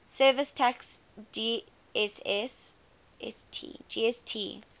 services tax gst